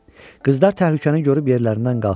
Qızlar təhlükəni görüb yerlərindən qalxırlar.